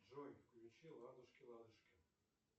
джой включи ладушки ладушки